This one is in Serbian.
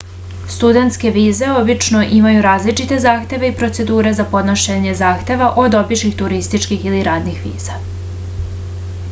studentske vize obično imaju različite zahteve i procedure za podnošenje zahteva od običnih turističkih ili radnih viza